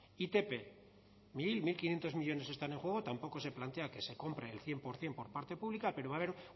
itp unocero unoquinientos millónes están en juego tampoco se plantea que se compre el cien por ciento por parte pública pero va a haber